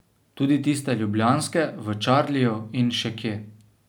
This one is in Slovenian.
Tudi tiste ljubljanske, v Čarliju in še kje ...